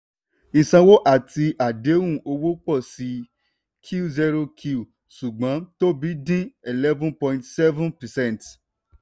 ìsanwó àti àdéhùn owó pọ̀ sí i qoq ṣùgbọ́n tóbi dín 11.7 percent.